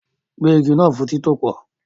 Gbẹ́ igi náà fún títòpò